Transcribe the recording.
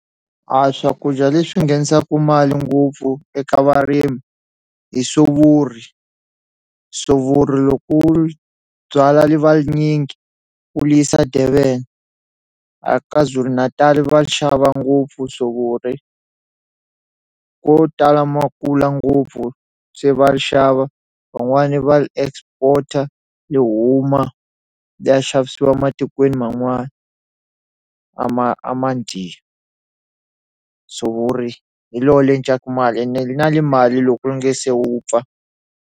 A swakudya leswi nghenisaku mali ngopfu eka varimi hi sovori, sovori loko u li byalwa li va linyingi u yisa Durban a Kwazulu-Natal va xava ngopfu sovori ko tala makula ngopfu se va ri xava van'wani va ri export-a li huma liya xavisiwa matikweni man'wani a ma a ma sovori hi lo li edlaka mali ene li na li mali loko ri nge se vupfa.